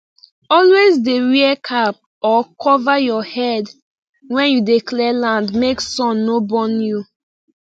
always dey wear cap or cover your head when you dey clear land make sun no burn you